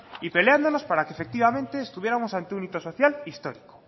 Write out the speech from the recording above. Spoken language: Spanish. y peleándonos para que efectivamente estuviéramos ante un hito social histórico